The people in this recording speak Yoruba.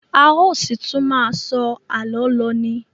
A ó ṣì tún má a sọ àlọ́ lọ ni.